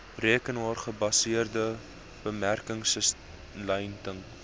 rekenaar gebaseerde bemarkingsinligting